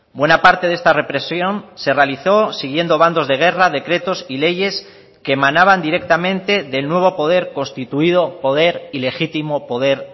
buena parte de esta represión se realizó siguiendo bandos de guerra decretos y leyes que emanaban directamente del nuevo poder constituido poder ilegítimo poder